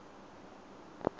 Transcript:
eno se njl